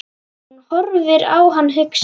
Hún horfir á hann hugsi.